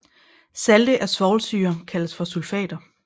Salte af svovlsyre kaldes for sulfater